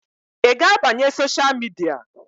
Ị ga-abanye sosha midia?